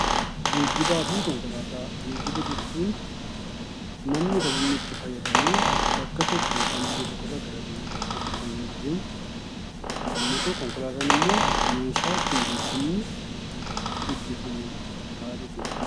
Geejjiba jechuun namni kan inni itti fayyadamee bakka tokko yookiin biyya tokko irraa gara biyya tokkootti kan inni adeemu yemmuu ta'u, konkolaataan ammoo meeshaa itti geejjibni gaggeeffamu ta'a jechuudha.